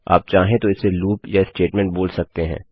आप चाहें तो इसे लूप या स्टेटमेंट बोल सकते हैं